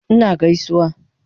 Ina gaisuwa